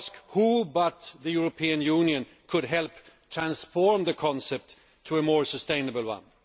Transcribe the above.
Who but the European Union could help transform the concept to a more sustainable one?